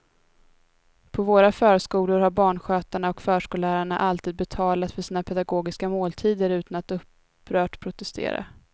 På våra förskolor har barnskötarna och förskollärarna alltid betalat för sina pedagogiska måltider utan att upprört protestera.